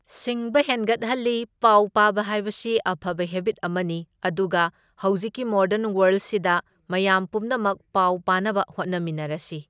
ꯁꯤꯡꯕ ꯍꯦꯟꯒꯠꯍꯜꯂꯤ, ꯄꯥꯎ ꯄꯥꯕ ꯍꯥꯏꯕꯁꯤ ꯑꯐꯕ ꯍꯦꯕꯤꯠ ꯑꯃꯅꯤ ꯑꯗꯨꯒ ꯍꯧꯖꯤꯛꯀꯤ ꯃꯣꯗꯔꯟ ꯋꯥꯔꯜꯁꯤꯗ ꯃꯌꯥꯝ ꯄꯨꯝꯅꯃꯛ ꯄꯥꯎ ꯄꯥꯅꯕ ꯍꯣꯠꯅꯃꯤꯟꯅꯔꯁꯤ꯫